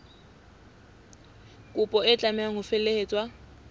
kopo e tlameha ho felehetswa